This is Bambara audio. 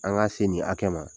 An ga se nin hakɛ ma